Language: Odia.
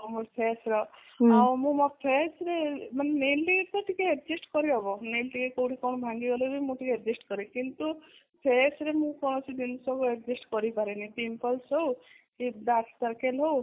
ଆଉ face ର ଆଉ ମୁଁ ମୋ face ରେ ମାନେ nail ରେ ତ ଟିକେ adjust କରିହବ nail କୋଉଠୁ ଟିକେ କଣ ଭାଙ୍ଗିଗଲେ ମୁଁ ଟିକେ adjust କରେ କିନ୍ତୁ face ରେ ମୁଁ କୌଣସି ଜିନିଷ କୁ adjust କରିପାରେନି pimples ହଉ କି dark circle ହଉ